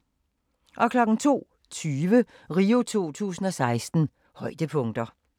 02:20: RIO 2016: Højdepunkter